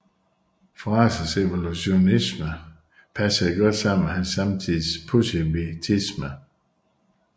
Frazers evolutionisme passede godt sammen med hans samtids positivisme